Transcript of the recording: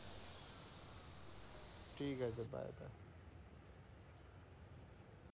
ঠিকাছে। Bye bye.